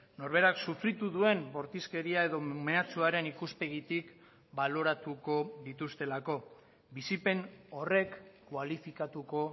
norberak sufritu duen bortizkeria edo meatsuaren ikuspegitik baloratuko dituztelako bizipen horrek kualifikatuko